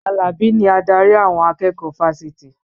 Alabi ni adarí àwọn akẹ́kọ̀ọ́ fáfitì